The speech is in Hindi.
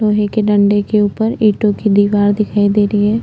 लोहे के डंडे के ऊपर ईंटों कि दीवार दिखाई दे री है।